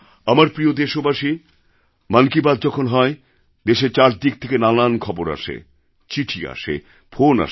আমার প্রিয় দেশবাসী মন কি বাত যখন হয় দেশের চারদিক থেকে নানান খবর আসে চিঠি আসে ফোন আসে